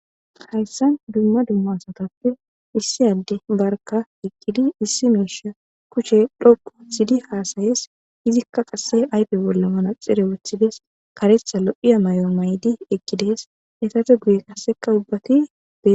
Hayssan dumma dumma asatappe issi adde barka eqqdi issi miisha kushen dhoqqu histidi haasayees. Izikka qasse ayfe bolla manaxire wothides. karetha lo'iya mayo maydi eqqides. Eetappe guye qasseka ubbati beetees.